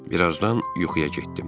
Bir azdan yuxuya getdim.